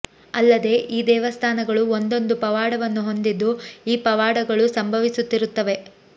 ಅಲ್ಲದೆ ಈ ದೇವಸ್ಥಾನಗಳು ಒಂದೊಂದು ಪವಾಡವನ್ನು ಹೊಂದಿದ್ದು ಈ ಪವಾಡಗಳು ಸಂಭವಿಸುತ್ತಿರುತ್ತವೆ